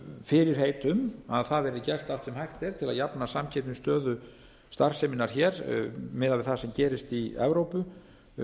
fyrirheit um að það verði gert allt sem hægt er til að jafna samkeppnisstöðu starfseminnar hér miðað við það sem gerist í evrópu